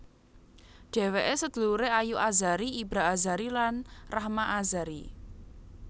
Dhèwèké saduluré Ayu Azhari Ibra Azhari lan Rahma Azhari